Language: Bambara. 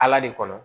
Ala de kɔnɔ